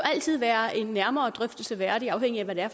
altid være en nærmere drøftelse værdig afhængig af hvad det er